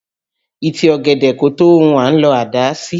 Ìtì ọ̀gẹ̀dẹ̀ kò tó ohun à ń lọ àdá sí